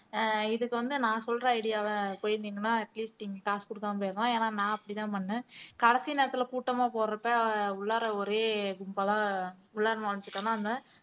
ஆஹ் இதுக்கு வந்து நான் சொல்ற idea வ போயிருந்திங்கனா at least நீங்க காசு குடுக்காம போயிருக்கலாம் ஏன்னா நான் அப்படித்தான் பண்ணேன் கடைசி நேரத்துல கூட்டமா போறப்ப உள்ளாற ஒரே கும்பலா உள்ளாற நுழைஞ்சிட்டோம்ன்னா